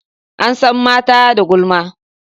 An san mata da gulma.